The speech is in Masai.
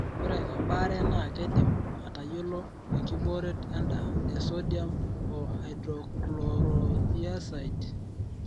ore embaare naa keidimi aatayiolo enkibooret endaa e Sodium o Hydrochlorothiazide.